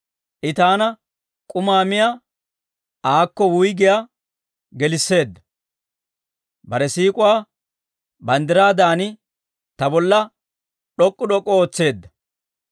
I taana k'umaa miyaa aakko wuyggiyaa gelisseedda; bare siik'uwaa banddiraadan ta bolla d'ok'k'u d'ok'k'u ootseedda.